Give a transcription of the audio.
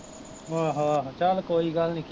ਆਹੋ ਆਹੋ ਚੱਲ ਕੋਈ ਗੱਲ ਨੀ